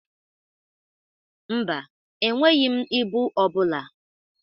Mba, enweghi m ibụ ọ bụla.